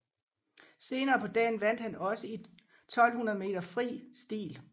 Senere på dagen vandt han også i 1200 meter fri stil